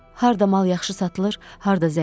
Harda mal yaxşı satılır, harda zəif?